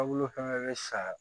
Taabolo fana bɛ sa